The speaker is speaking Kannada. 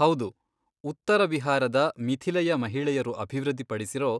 ಹೌದು, ಉತ್ತರ ಬಿಹಾರದ ಮಿಥಿಲೆಯ ಮಹಿಳೆಯರು ಅಭಿವೃದ್ಧಿ ಪಡಿಸಿರೋ